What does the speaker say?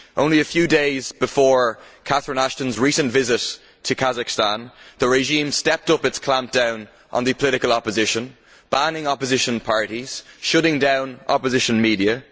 Only a few days before Catherine Ashton's recent visit to Kazakhstan, the regime stepped up its clampdown on the political opposition, banning opposition parties and shutting down opposition media.